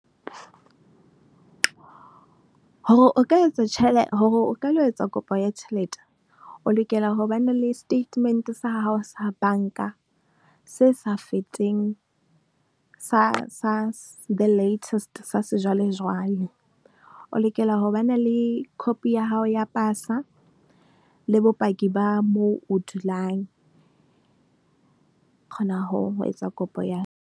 Hore o ka etsa , hore o ka etsa kopo ya tjhelete, o lokela ho ba na le statement sa hao sa banka se sa fetseng sa, sa the latest sa sejwalejwale. O lokela ho ba na le copy ya hao ya pasa le bopaki ba moo o dulang. O kgona ho etsa kopo ya.